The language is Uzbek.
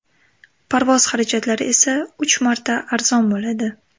Parvoz xarajatlari esa uch marta arzon bo‘ladi.